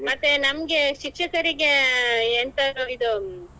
ಮತ್ತೆ ನಮ್ಗೆ ಶಿಕ್ಷಕರಿಗೆ ಎಂಥಾ ಇದು